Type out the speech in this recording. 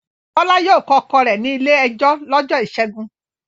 Bọ́lá yóò kọ ọkọ rẹ̀ ní ilé-ẹjọ́ lọ́jọ́ ìṣẹ́gun.